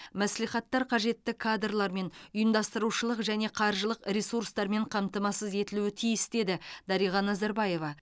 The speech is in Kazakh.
мәслихаттар қажетті кадрлармен ұйымдастырушылық және қаржылық ресурстармен қамтамасыз етілуі тиіс деді дариға назарбаева